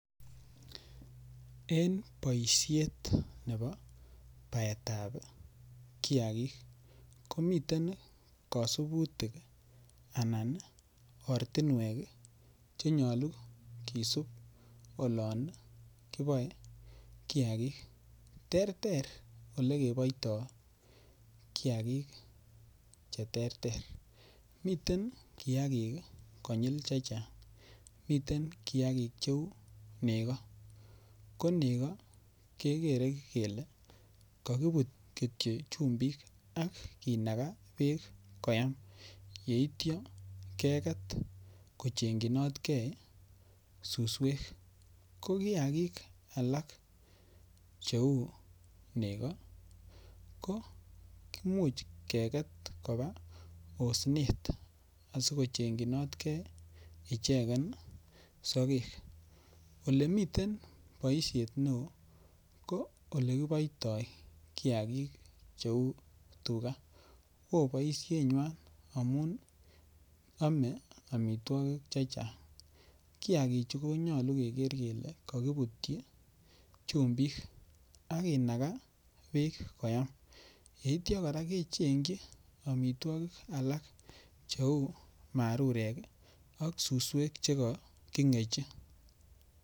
En boisiet nebo baetab kiagik komiten kasunutik anan ortinwek che nyalu kisup olon kiboe kiagik. Terter eleboito kiagik cheterter. Miten kiagik konyil che chang. Miten kiagik cheu nego, ko nego kegere kele kakibutyi kityo chumbik ak kinaga beek koyam yeityo keget kochengyinot ke suswek. Ko kiagik alak cheu nego komuch keget koba osnet asikochengjinot ke ichegen sogek. Olemiten boisiet neo ko olekiboitoi kiagik cheu tuga. O boisienywan amun ame amitwogik chechang. Kiagichu konyalu keger kele kakibutyi chumbik ak kinaga beek koyam. Yeitya kora kechengji amitwogik alak cheu marurek ak suswek chekakingechi.